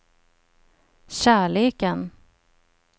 kärleken